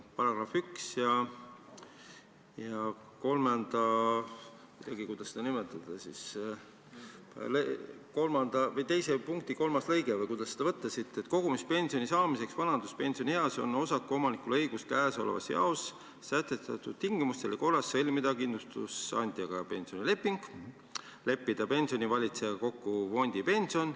Paragrahv 1, lõige 1, punkt 3: kogumispensioni saamiseks vanaduspensionieas on osakuomanikul õigus käesolevas jaos sätestatud tingimustel ja korras sõlmida kindlustusandjaga pensionileping, leppida pensionifondivalitsejaga kokku fondipension ...